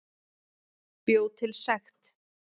Bjó til sekt